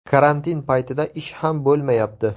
Karantin paytida ish ham bo‘lmayapti.